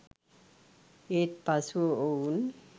ඒත් පසුව ඔවුන්